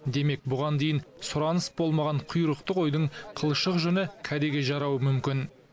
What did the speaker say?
демек бұған дейін сұраныс болмаған құйрықты қойдың қылшық жүні кәдеге жарауы мүмкін